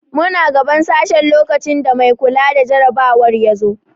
Muna gaban sashen lokacin da mai kula da jarabawar ya zo.